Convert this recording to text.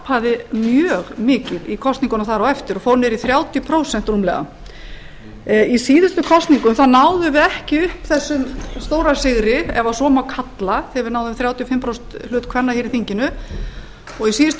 hrapaði mjög mikið í kosningunum þar á eftir og fór niður í þrjátíu prósent rúmlega í síðustu kosningum náðum við ekki upp þessum stóra sigri ef svo má kalla þegar við náðum þrjátíu og fimm prósent hluta kvenna hér í þinginu og í síðustu